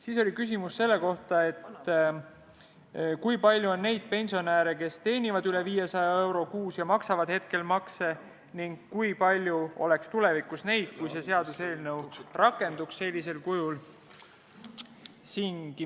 Siis oli küsimus, kui palju on neid pensionäre, kes teenivad üle 500 euro kuus ja maksavad hetkel makse, ning kui palju oleks neid tulevikus, kui see seaduseelnõu sellisel kujul rakendub.